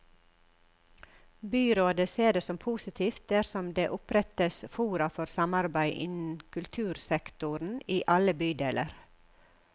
Byrådet ser det som positivt dersom det opprettes fora for samarbeid innen kultursektoren i alle bydeler.